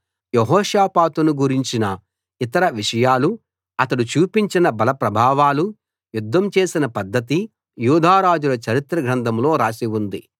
యెహోషాపాతును గురించిన ఇతర విషయాలు అతడు చూపించిన బల ప్రభావాలు యుద్ధం చేసిన పద్ధతి యూదా రాజుల చరిత్ర గ్రంథంలో రాసి ఉంది